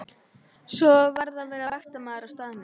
Svo varð að vera vaktmaður á staðnum.